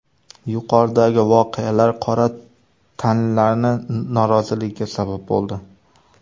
Yuqoridagi voqealar qora tanlilarning noroziligiga sabab bo‘ldi.